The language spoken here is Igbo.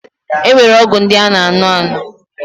E nwere ọgwụ ndị a na aṅụ aṅụ.